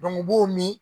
u b'o min